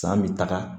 San bɛ taga